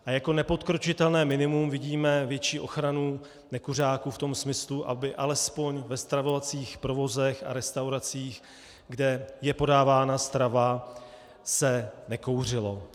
A jako nepodkročitelné minimum vidíme větší ochranu nekuřáků v tom smyslu, aby alespoň ve stravovacích provozech a restauracích, kde je podávána strava, se nekouřilo.